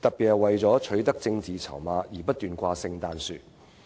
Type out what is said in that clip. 更不是為取得政治籌碼而不斷"掛聖誕樹"。